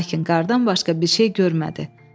Lakin qardan başqa bir şey görmədi.